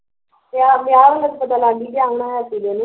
ਵਿਆਹ ਵਿਆਹ ਤਾਂ ਉਹਨੂੰ ਪਤਾ ਲੱਗ ਈ ਗਿਆ ਹੁਣਾ ਹੈਪੀ ਦੇ ਨੂੰ